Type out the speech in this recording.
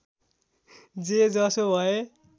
जे जसो भए